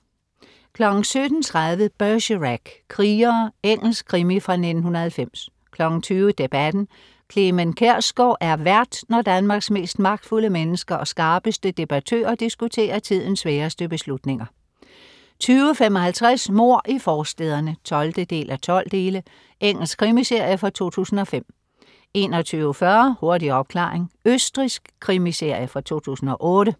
17.30 Bergerac: Krigere. Engelsk krimi fra 1990 20.00 Debatten. Clement Kjersgaard er vært, når Danmarks mest magtfulde mennesker og skarpeste debattører diskuterer tidens sværeste beslutninger 20.55 Mord i forstæderne 12:12. Engelsk krimiserie fra 2005 21.40 Hurtig opklaring. Østrigsk krimiserie fra 2008